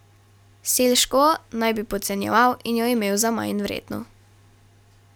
Selškovo naj bi podcenjeval in jo imel za manjvredno.